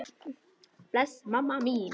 Bless mamma mín.